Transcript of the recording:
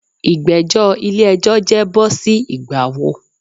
Igbẹjọ ile-ẹjọ jẹ bo si Ìgbà wo?